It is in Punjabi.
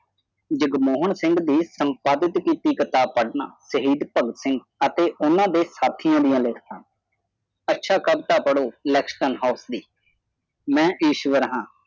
ਜਗਮੋਹਨ ਸਿੰਘ ਦੀ ਸੰਪਾਦਿਤ ਕੀਤੀ ਕਿਤਾਬ ਪੜ੍ਹਨਾ ਸ਼ਹੀਦ ਭਗਤ ਸਿੰਘ ਅਤੇ ਉਨ੍ਹਾਂ ਦੇ ਸਾਥੀਆਂ ਦੀਆਂ ਲਿਖਤਾਂ ਅੱਛਾ ਕਵਿਤਾ ਪੜ੍ਹੋ langston house ਦੀ